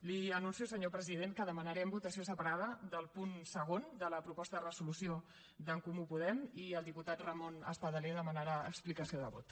li anuncio senyor president que demanarem votació separada del punt segon de la proposta de resolució d’en comú podem i el diputat ramon espadaler demanarà explicació de vot